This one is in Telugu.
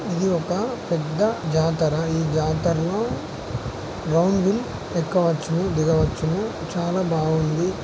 ఇది ఒక పెద్ద జాతర. ఈ జాతర లో రౌండ్ వీల్ ఎక్కవచ్చు దిగవచ్చును. చాలా బావుంది.